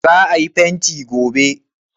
za a yi fenti gobe!